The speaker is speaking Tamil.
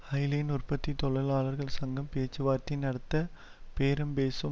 ஹைலைன் உற்பத்தி தொழிலாளர்கள் சங்கம் பேச்சுவார்த்தை நடத்த பேரம்பேசும்